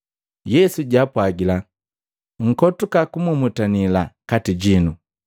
Yesu jaapwagila, “Nkotuka kumumutanila kati jinu.